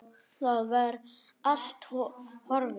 Það var allt horfið!